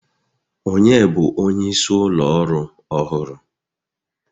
Ònye bụ onyeisi ụlọ ọrụ ọhụrụ?